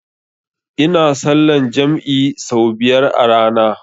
Ina sallan jam'i sau biyar a rana